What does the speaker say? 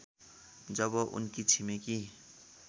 जब उनकी छिमेकी